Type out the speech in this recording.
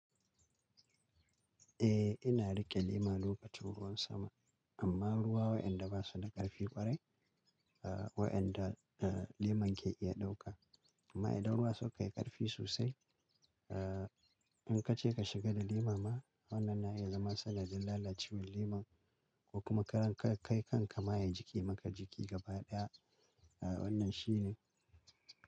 Eh, ina riƙe lema lokacin ruwan sama, amma ruwa waɗanda basu da ƙarfi kwarai, waɗanda aa leman ke iya ɗauka. Amma idan ruwan suka yi ƙarfi sosai, aa in ka ce ka shiga da lema ma, wannan na iya zama sanadin lalacewar leman ko kuma ka kai kanka ma ya jiƙe maka jiki gaba ɗaya. Wannan shi ne.